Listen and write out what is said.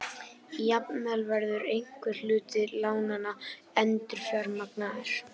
Jafnvel verður einhver hluti lánanna endurfjármagnaður